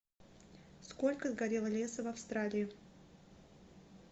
сколько сгорело леса в австралии